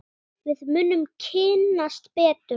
Við munum kynnast betur.